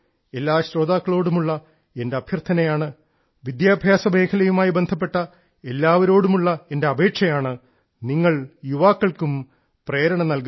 എല്ലാ ശ്രോതാക്കളോടുമുള്ള എന്റെ അഭ്യർത്ഥനയാണ് വിദ്യാഭ്യാസ മേഖലയുമായി ബന്ധപ്പെട്ട എല്ലാവരോടുമുള്ള എന്റെ അപേക്ഷയാണ് നിങ്ങൾ യുവാക്കൾക്കും പ്രേരണ നൽകുക